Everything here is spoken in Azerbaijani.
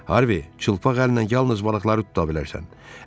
Harvi, çılpaq əlinlə yalnız balıqları tuta bilərsən.